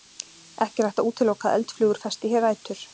Ekki er hægt að útiloka að eldflugur festi hér rætur.